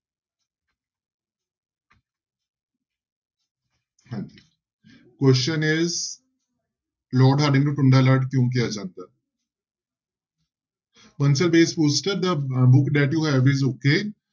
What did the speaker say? ਹਾਂਜੀ question is Lord Hardinge ਨੂੰ ਟੁੰਡਾ ਲਾਟ ਕਿਉਂ ਕਿਹਾ ਜਾਂਦਾ okay